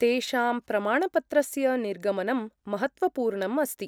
तेषां प्रमाणपत्रस्य निर्गमनं महत्त्वपूर्णम् अस्ति।